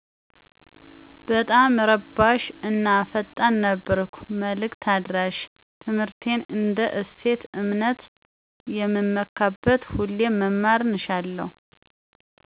በጣመ እረባሽ እና ፈጣን ነበርኩ መልክ አድራሸ ትምህርትን እንደ እሴት /እምነት የምመካበት ሁሌም መማርን እሻለሁ።